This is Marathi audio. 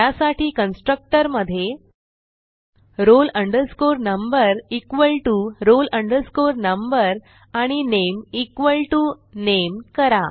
त्यासाठी कन्स्ट्रक्टर मधे roll number equal to roll number आणि नामे इक्वॉल टीओ नामे करा